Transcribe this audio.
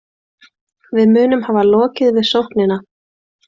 Við munum hafa lokið við sóknina